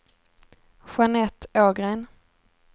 Jeanette Ågren